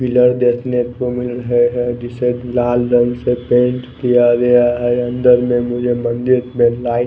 Pillar देखने को मिल रहे हैं जिसे लाल रंग से पेंट किया गया है अन्दर में मुझे मंदिर ।